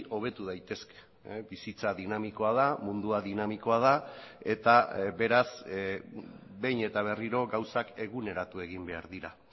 hobetu daitezke bizitza dinamikoa da mundua dinamikoa da eta beraz behin eta berriro gauzak eguneratu egin behar dira